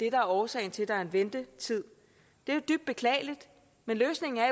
er årsagen til at der er ventetid det er jo dybt beklageligt men løsningen er